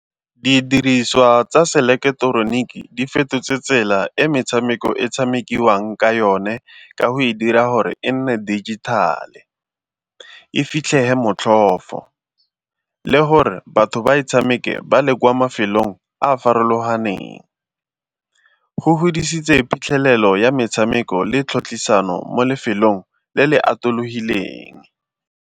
Didiriswa tsa seleketeroniki di fetotse tsela e metshameko e tshamekiwang ka yone ka go e dira gore e nne dijithale, e fitlhege motlhofo le gore batho ba tshameke ba le kwa mafelong a a farologaneng. Go godisitse phitlhelelo ya metshameko le tlhotlhisano mo lefelong le le atologileng.